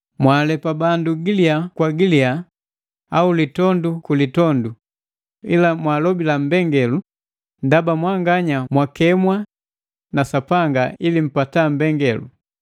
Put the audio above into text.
Mwaalepa bandu giliya kwa uliya au litondu ku litondu; ila mwaalobila mbengalelu, ndaba mwanganya mwakemwa na Sapanga ili mpata mbengalelu.